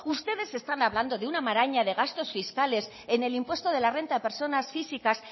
ustedes están hablando de una maraña de gastos fiscales en el impuesto de la renta de personas físicas